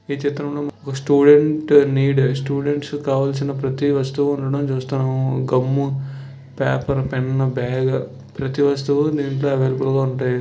student need students కావలసిన ప్రతి వస్తువుడం వ్యాపార ప్రతి వస్తువుల చూడండి--